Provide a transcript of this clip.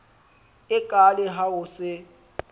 e kaale ha o se